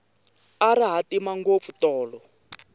a ri hatima ngopfu tolo